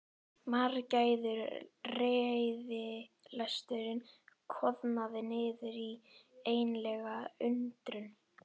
Margæfður reiðilesturinn koðnaði niður í einlæga undrun.